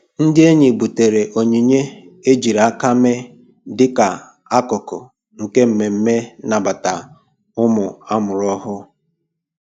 Ndị enyi butere onyinye ejiri aka mee dịka akụkụ nke mmemme nnabata ụmụ amụrụ ọhụrụ.